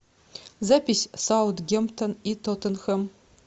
запись саутгемптон и тоттенхэм